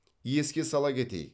еске сала кетейік